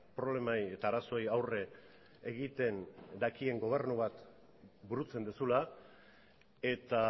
problemei eta arazoei aurre egiten dakien gobernu bat burutzen duzula eta